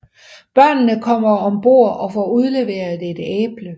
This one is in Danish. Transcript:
Børnene kommer ombord og får udleveret et æble